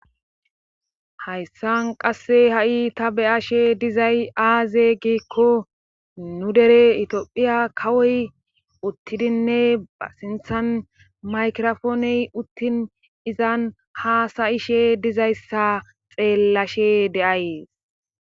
hayssan qasse ha7i ta beyashe dizay aaze giikko nu dere itophiya kawoy uttidinne ba sinthan maykirofooney uttin izan haasa7ishe dizayssa xeellashe de7ays